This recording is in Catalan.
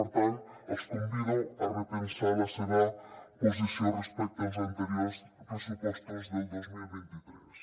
per tant els convido a repensar la seva posició respecte als anteriors pressupostos del dos mil vint tres